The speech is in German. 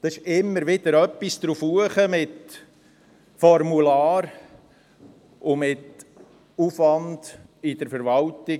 Es kommt immer etwas dazu mit Formularen und Aufwand in der Verwaltung.